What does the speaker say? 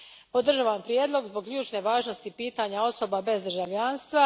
Podržavam Prijedlog zbog ključne važnosti pitanja osoba bez državljanstva.